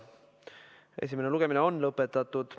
Esimene lugemine on lõpetatud.